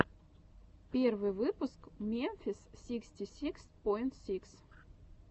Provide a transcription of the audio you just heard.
первый выпуск мемфис сиксти сикс поинт сикс